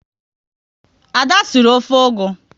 Ada sịrị ofe ugu